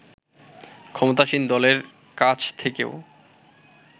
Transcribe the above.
ক্ষমতাসীন দলের কাছ থেকেও